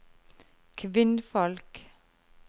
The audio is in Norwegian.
kvinnfolk